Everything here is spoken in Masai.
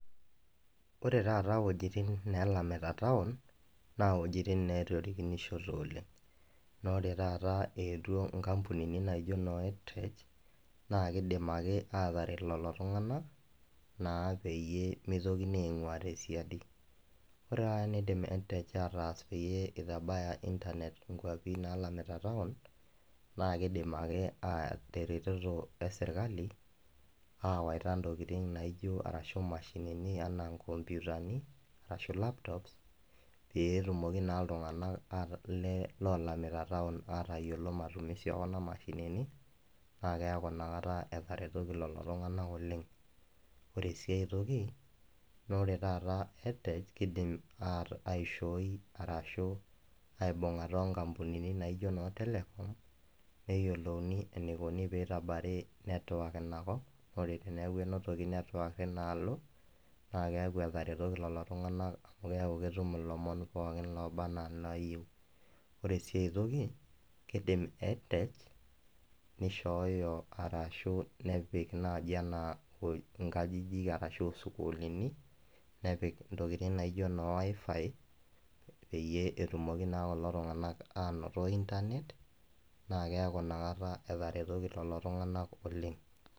ore taata wuejitin neelamita town naa wuejitin neetorikinshote oleng. naa ore taata eewuo inkampunini naijo noo edtech naa kidim ake aataret lelo tunganak, naa peyie mitokini aing'uaa tesiadi. ore taata eneidim edtech ataas pee internet inkwapi naalamita town naa kidim ake teretoto esirkali, aawaita ntokitin naijo, arashu mashinini anaa nkompuutani, ashu laptops pee etumoki naa iltunganak, lolamita town aatayiolo, matumisi e kuna mashinini, naa keeku ina kata etaretoki kulo tunganak oleng. ore sii aetoki naa ore taata edtech kidim aishooi, arashu aibung'ata onkampunini naijo noo telecom neyiolouni enikunari network ina kop, ore teneeku entoki network teina alo, naa keeku etaretoki lelo tunganak. amu keeku ketum ilomon pookin oba anaa inaayieu, ore sii aetoki, kidim edtech nishooyo arashu, nepik naaji anaa nkajijik arashu isukuulini, nepik intokitin naijo noo wifi peyie etumoki naa kulo tunganak aanotito internet naa keeku inakata etaretoki lelo tunganak oleng.